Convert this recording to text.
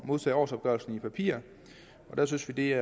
modtage årsopgørelsen i papirform der synes vi at